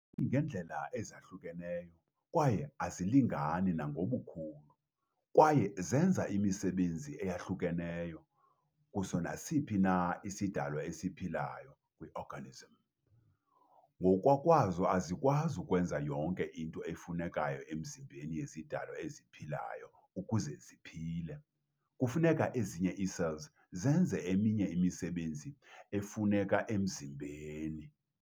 Zimi ngeendlela ezahlukeneyo kwaye azilingani nangobukhulu, kwaye zenza imisebenzi eyahlukeneyo kuso nasiphi na isidalwa esiphilayo - kwi-organism. Ngokokwazo azikwazi ukwenza yonke into efunekayo emzimbeni yezidalwa eziphilayo ukuze ziphile. kufuneka ezinye ii-cells zenze eminye imisebenzi efuneka emzimbeni.